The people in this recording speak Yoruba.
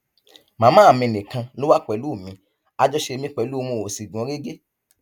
màmá mi nìkan ló wà pẹlú mi àjọṣe mi pẹlú wọn ò sì gún régé